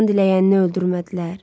Aman diləyənini öldürmədilər.